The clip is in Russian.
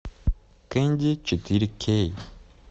кэнди четыре кей